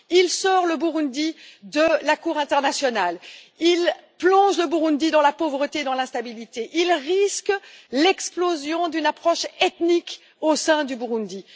Il sort le Burundi de la Cour internationale, plonge son pays dans la pauvreté et dans l'instabilité et risque l'explosion d'une approche ethnique au sein du Burundi.